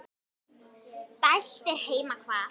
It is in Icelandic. dælt er heima hvað.